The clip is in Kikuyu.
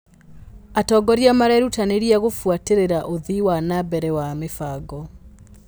Atongoria marerutanĩria gũbuatĩrĩra ũthii wa na mbere wa mĩbango.